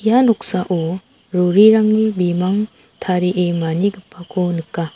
ia noksao rorirangni bimang ta·rie manigipako nika.